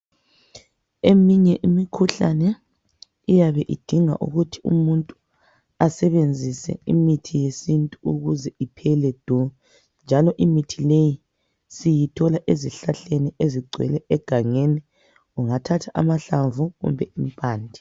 Eminye imikhuhlane iyabe idinga ukuthi umuntu asebenzise imithi yesintu ukuze iphele du njalo imithi leyi siyithola ezihlahleni ezigcwele egangeni ungathatha amahlamvu kumbe impande.